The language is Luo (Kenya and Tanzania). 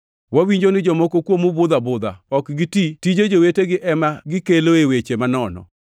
Wawinjo ni jomoko kuomu budho abudha. Ok giti, tije jowetegi ema gikeloe weche manono.